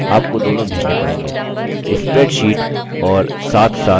आपको दोनों भेजने पड़ेंगे spreadsheet और साथसाथ image फाइल